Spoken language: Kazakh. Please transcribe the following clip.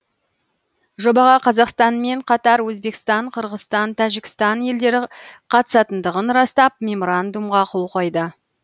жобаға қазақстанмен қатар өзбекстан қырғызстан тәжікстан елдері қатысатындығын растап меморандумға қол қойды